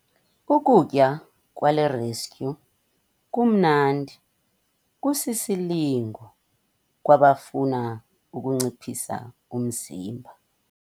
Ukutya kwale restyu kumnandi kusisilingo kwabafuna ukunciphisa umzimba.